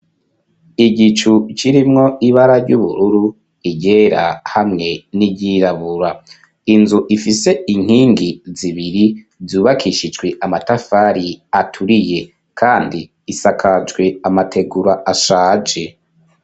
Igicu kirimwo ibara ry'ubururu iryera hamwe n'iryirabura inzu ifise inkingi zibiri yubakishijwe amatafari aturiye kandi isakajwe amategura ashaje.